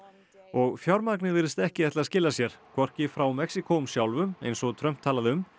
og fjármagnið virðist ekki ætla að skila sér hvorki frá Mexíkóum sjálfum eins og Trump talaði um